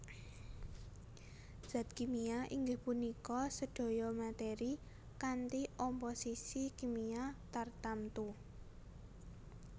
Zat kimia inggih punika sedaya meteri kanthi omposisi kimia tartamtu